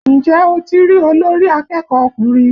Ǹjẹ́ o ti rí olórí akẹ́kọ̀ọ́ ọkùnrin?